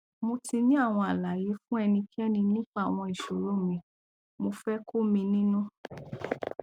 mo ti ní àwọn àlàyé fún ẹnikẹni nípa àwọn ìṣòro mi mo fẹ kó mi nínú